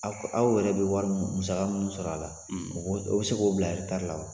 Aw aw yɛrɛ bɛ wari musa minnu sɔrɔ a la ,, u bɛ se k'o bila la?